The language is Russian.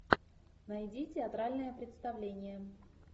найди театральное представление